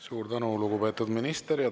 Suur tänu, lugupeetud minister!